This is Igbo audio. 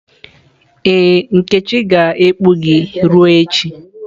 Ee, nkechi ga-ekpu gị ruo echi.